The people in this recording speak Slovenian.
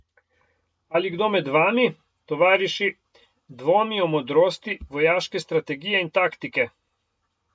Ali kdo med vami, tovariši, dvomi o modrosti vojaške strategije in taktike?